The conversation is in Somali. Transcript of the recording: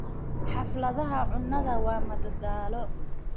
Xafladaha cunnada waa madadaalo.